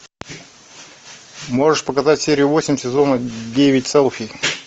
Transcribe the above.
можешь показать серию восемь сезона девять селфи